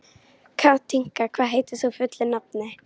Katinka, hvað heitir þú fullu nafni?